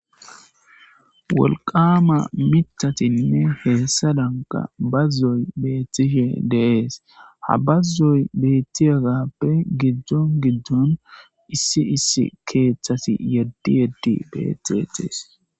Wolqqama miththattine hssadanika bazzoy bettishe de'essi ha bazoy bettiyagappe giddon giddon issi issi keththeti yedi yedi bettetes.